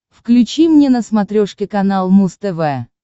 включи мне на смотрешке канал муз тв